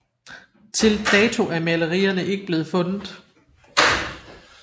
Til dato er malerierne ikke blevet fundet